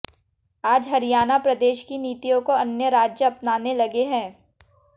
आज हरियाणा प्रदेश की नीतियों को अन्य राज्य अपनाने लगे हैं